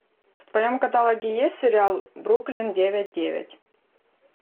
в твоем каталоге есть сериал бруклин девять девять